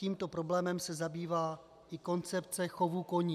Tímto problémem se zabývá i koncepce chovu koní.